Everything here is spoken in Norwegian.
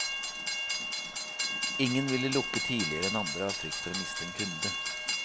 Ingen ville lukke tidligere enn andre av frykt for å miste en kunde.